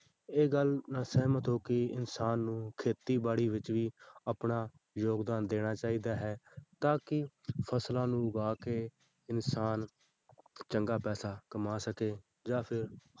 ਇਹ ਗੱਲ ਨਾਲ ਸਹਿਮਤ ਹੋ ਕਿ ਇਨਸਾਨ ਨੂੰ ਖੇਤੀਬਾੜੀ ਵਿੱਚ ਵੀ ਆਪਣਾ ਯੋਗਦਾਨ ਦੇਣਾ ਚਾਹੀਦਾ ਹੈ ਤਾਂ ਕਿ ਫ਼ਸਲਾਂ ਨੂੰ ਉਗਾ ਕੇ ਇਨਸਾਨ ਚੰਗਾ ਪੈਸਾ ਕਮਾ ਸਕੇ ਜਾਂ ਫਿਰ,